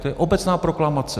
To je obecná proklamace.